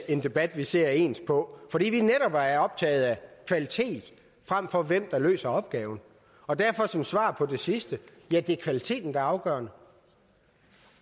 en debat vi ser ens på fordi vi netop er er optaget af kvalitet frem for hvem der løser opgaven derfor som svar på det sidste ja det er kvaliteten der er afgørende